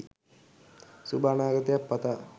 සුබ අනාගතයක් පතා